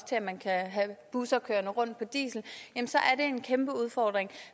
til at man kan have busser kørende rundt på diesel har en kæmpe udfordring